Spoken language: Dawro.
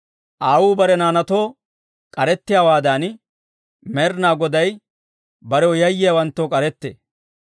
Aawuu bare naanaatoo k'arettiyaawaadan, Med'inaa Goday barew yayyiyaawanttoo k'arettee.